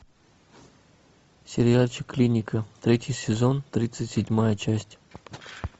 сериальчик клиника третий сезон тридцать седьмая часть